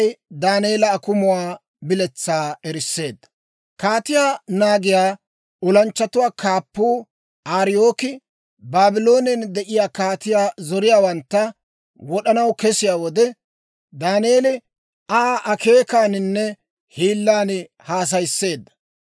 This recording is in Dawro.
Kaatiyaa naagiyaa olanchchatuwaa kaappuu Ariyooki, Baabloonen de'iyaa kaatiyaa zoriyaawantta wod'anaw kesiyaa wode, Daaneeli Aa akeekaaninne hiillan haasayisseedda.